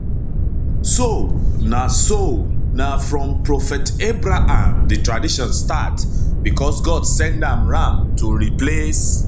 so na so na from prophet abraham di tradition start becos god send am ram to replace